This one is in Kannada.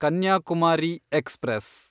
ಕನ್ಯಾಕುಮಾರಿ ಎಕ್ಸ್‌ಪ್ರೆಸ್